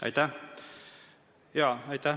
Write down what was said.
Aitäh!